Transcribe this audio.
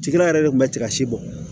Cikɛla yɛrɛ de kun bɛ tiga si bɔ